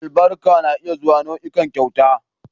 Albarka na iya zuwa nau'ikan kyauta